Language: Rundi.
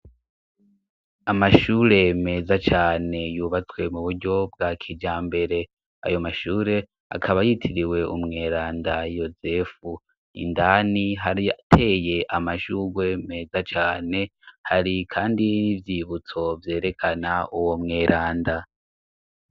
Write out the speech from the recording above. Amashure meza cane yubatswe mu buryo bwa kijambere. Ayo mashure akaba yitiriwe Umweranda Yozefu, indani harateye amajuwe meza cane hari kandi n'ivyibutso vyerekana uwo mweranda.